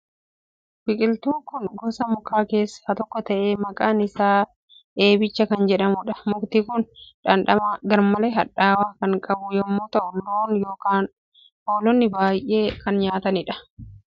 Biqiltuun kun gosa mukaa keessaa tokko ta'ee, maqaan isaa eebicha kan jedhamudha. Mukti kun dhamdhama garmalee hadhaa'u kan qabu yommuu ta'u, loon yookiin hoolonni baay'ee jaalatu. Naannoo lafa baddaatti marga.